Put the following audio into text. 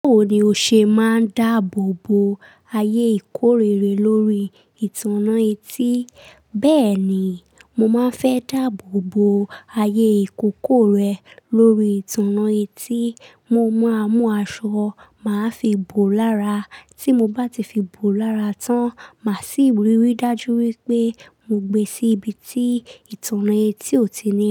Báwo ni o ṣe máa ń dáàbò bo ayé ìkórere lórí ìtànná etí? Bẹ́ẹ̀ni, mo máa fẹ́ dáàbò bo ayé ìkókó rẹ lórí ìtànná etí. Mo máa mú aṣọ, màá fi bò ó lára. Tí mo bá ti fi bò ó lára tán, màá sì rì wí dájú wípé mo gbé sí ibi tí ìtànná etí ò tí ì ní.